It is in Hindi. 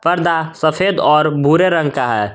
पर्दा सफेद और भूरे रंग का है।